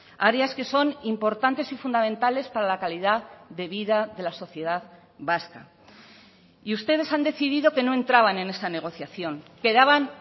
áreas que son importantes y fundamentales para la calidad de vida de la sociedad vasca y ustedes han decidido que no entraban en esta negociación que daban